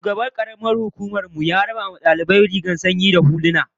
Shugaban karamar hukumar mu ya raba wa dukkan daliban rigunan sanyi da huluna